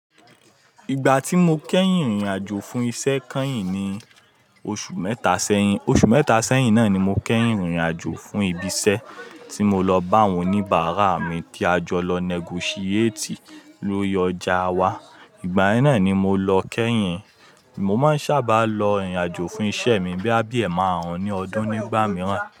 Ìgbà tí mo kẹ́yìn rìnrìn àjò fún iṣẹ́ kányìn ni oṣù mẹ́ta sẹ́yìn. Oṣù mẹ́ta sẹ́yìn náà ni mo kẹ́yìn rìnrìn àjò fún ibi iṣẹ́ tí mo lọ bá àwọn oníbàrà mi tí a jọ lọ negotiate lórí ọjà wa. Ìgbà yẹn náà ni mo lọ kẹ́yìn. Mo máa ń sábà lọ rìnrìn àjò fún iṣẹ́ mi bí a bi ẹ márùn-ún ní ọdún nígbà mìíràn.